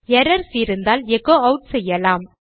errors இருந்தால் echo add செய்யலாம்